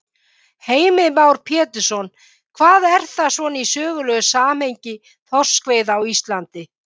Heimir Már Pétursson: Hvað er það svona í sögulegu samhengi þorskveiða á Íslandi?